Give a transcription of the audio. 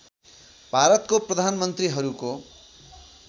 भारतको प्रधान मन्त्रिहरूको